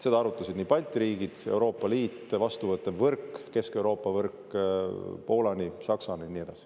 Seda arutasid Balti riigid, Euroopa Liit, vastuvõttev võrk Kesk-Euroopa võrk, Poola, Saksa ja nii edasi.